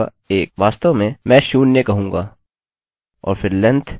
वास्तव में मैं शून्य कहूँगा और फिर लेन्थ कहूँगा 2